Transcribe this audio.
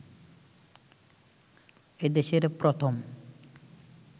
এ দেশের প্রথম